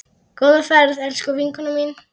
Góða ferð, elsku vinkona mín.